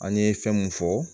An ye fɛn mun fɔ